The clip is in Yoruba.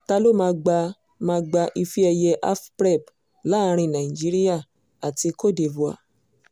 ta ló máa gba máa gba ife ẹ̀yẹ afprep láàrin nigeria àti côte divore